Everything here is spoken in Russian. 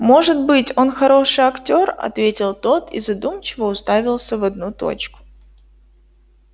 может быть он хороший актёр ответил тот и задумчиво уставился в одну точку